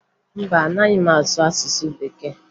Mba, anaghị m asụ asụsụ Bekee